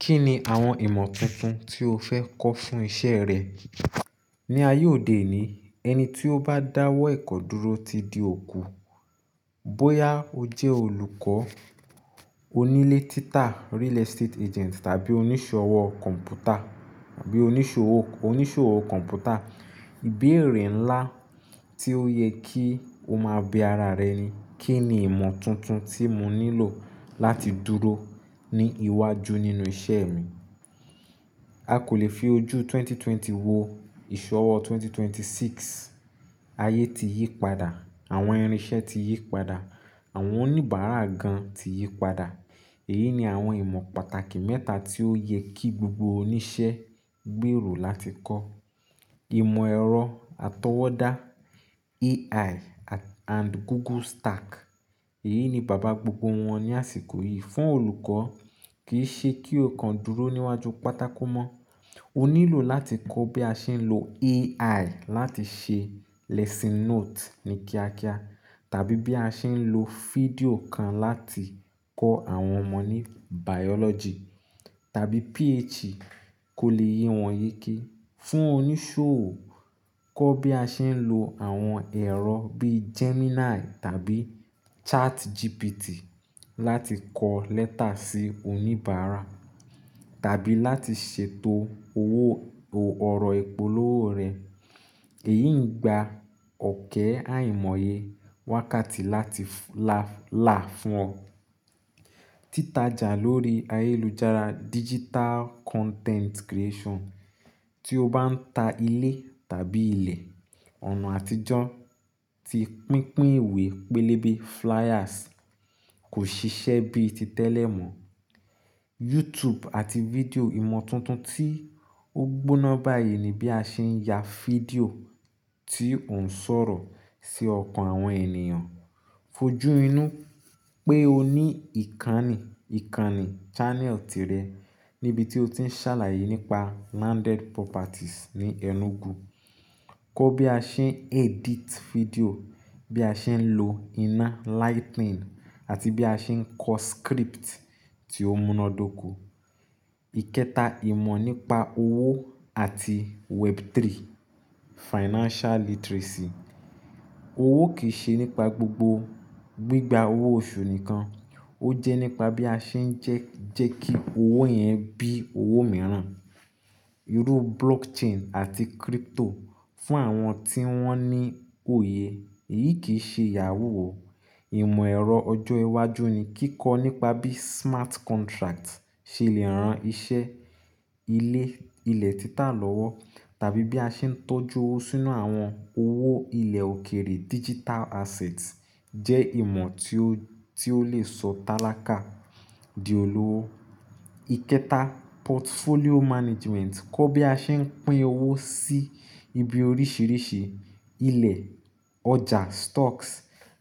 Kí ni àwọn ìmọ̀ tuntun tí o fẹ́ kọ́ fún iṣẹ́ rẹ? Ni ayé òde òní, ẹni tí ó bá dáwọ́ ẹ̀kọ́ dúró ti di òkú. Bóyá o jẹ́ olùkọ́, onílétítà, real estate agent, tàbí oníṣòwọ́ kọ̀ǹpútà tàbí oníṣòwò, oníṣòwò kọ̀ǹpútà, ìbéèrè ńlá tí ó yẹ kí o máa bi ara rẹ ni, kí ni ìmọ̀ tuntun tí mo nílò láti dúró ní iwájú nínú iṣẹ́ mi? A kò lè fi ojú ẹgbẹ̀rún méjì ó lé ogún wo ìṣọwọ́ ẹgbẹ̀rún méjì ó lé mẹ́rìndínlọ́gbọ̀n. Ayé ti yí padà, àwọn irinṣẹ́ ti yí padà, àwọn oníbàárà gan tí yí padà. Èyí ni àwọn ìmọ̀ pàtàkì mẹ́ta tí ó yẹ kí gbogbo oníṣẹ́ gbèrò láti kọ́. Ìmọ̀ ẹ̀rọ atọwọ́dá AI and Google Stack. Èyí ni bàbá gbogbo wọn ní àsìkò yìí. Fún olùkọ́, kì í ṣe kí o kan dúró níwájú pátákó mọ́. O nílò láti kọ́ bí a ṣe ń lo AI láti ṣe lesson note ní kíákíá, tàbí bí a ṣe ń lo fídíò kan láti kọ́ àwọn ọmọ ní Biology tàbí PH kò lè yé wọn yéké. Fún oníṣòwò, kọ́ bí a ṣe ń lo àwọn ẹ̀rọ bí Gemini tàbí ChatGPT láti kọ lẹ́tà sí oníbàárà tàbí láti ṣètò owó ọ̀rọ̀ ìpolówó rẹ̀. Èyí ń gba ọ̀kẹ́ àìmọye wákàtí láti là fún ọ. Títàjà lórí ayélujára digital content creation. Tí o bá ń ta ilé tàbí ilẹ̀, ọ̀nà àtijọ́ tí pínpín ìwé pélébé flyers kò ṣiṣẹ́ bíi ti tẹ́lẹ̀ mọ́. YouTube àti fídíò ìmọ̀ tuntun tí ó gbóná báyìí ni bí a ṣe ń ya fídíò tí ò ń sọ̀rọ̀ sí ọkàn àwọn ènìyàn. Fojú inú pé o ní ìkànnì, ìkànnì channel tìrẹ níbi tí o ti ń ṣàlàyé nípa landed properties ní Enugu. Kọ́ bí a ṣe ń edit fídíò, bí a ṣe ń lo iná lightning àti bí a ṣe ń kọ script tí ó múnádóko. Ìkẹta, ìmọ̀ nípa owó àti Web3 financial literacy. Owó kì í ṣe nípa gbogbo gbígba owó oṣù nìkan, ó jẹ́ nípa bí a ṣe ń jẹ́ kí owó yẹn bí owó mìíràn. Irú blockchain àti crypto fún àwọn tí wọ́n ní òye, èyí kì í ṣe yahoo oo. Ìmọ̀ ẹ̀rọ ọjọ́ iwájú ni. Kíkọ́ nípa bí smart contract ṣe lè ran iṣẹ́ ilé, ilẹ̀ títà lọ́wọ́ tàbí bí a ṣe ń tọ́jú owó sínú àwọn owó ilẹ̀ òkèrè digital assets jẹ́ ìmọ̀ tí ó, tí ó lè sọ talakà di olówó. Ìkẹta, portfolio management. Kọ́ bí a ṣe ń pín owó sí ibi oríṣìíríṣìí, ilẹ̀, ọjà stocks